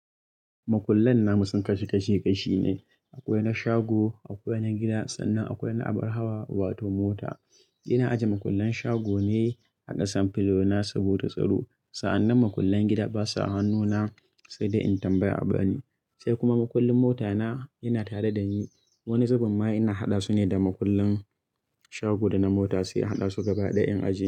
Makullan namu sun kasu kashe kashe ne. Akwai na shago, akwai na gida sannan akwai na abar hawa wato mota. Ina ajiye makullan shago ne a ƙasan filo na saboda tsaro. Sa'annan makullan gida basa hannuna sai da in tambayi abu bani. Sai kuma mukullin mota na, yana tare da ni. Wani zubin ma ina haɗa su ne da mukullin shago da na mota sai a haɗa su gaba ɗaya in ajiye.